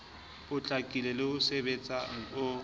potlakileng le o sebetsehang o